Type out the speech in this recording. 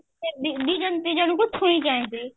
ଯେମତି ଛୁଇଁ ଛନ୍ତି